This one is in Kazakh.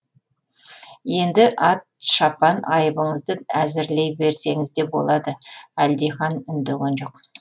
енді ат шапан айыбыңызды әзірлей берсеңіз де болады әлдихан үндеген жоқ